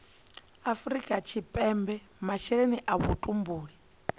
afrika tshipembe masheleni a vhutumbuli